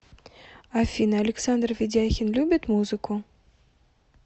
афина александр ведяхин любит музыку